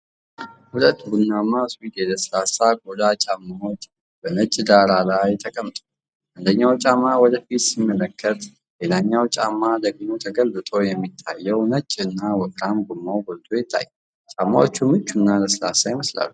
ሁለት ቡናማ ሱዊድ የለስላሳ ቆዳ ጫማዎች በነጭ ዳራ ላይ ተቀምጠዋል። አንደኛው ጫማ ወደ ፊት ሲመለከት፣ ሌላኛው ጫማ ደግሞ ተገልብጦ የሚታየው ነጭና ወፍራም ጎማው ጎልቶ ይታያል። ጫማዎቹ ምቹና ለስላሳ ይመስላሉ።